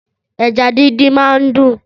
Ẹ̀já dindin mà n dún